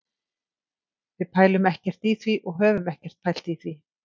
Við pælum ekkert í því og höfum ekkert pælt í því.